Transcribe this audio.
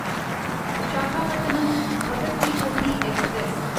Visakhapatnam Bhagat ki Kothi express